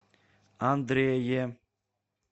андрее